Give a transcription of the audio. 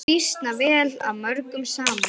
Býsna vel af mörgum samin.